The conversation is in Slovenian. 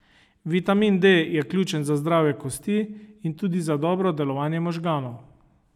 Vitamin D je ključen za zdrave kosti in tudi za dobro delovanje možganov.